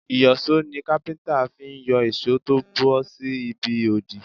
Ìyọ̀ṣó ni Kápẹ́ńtà fi ń yọ ìṣó tó bọ́ sí ibi òdì.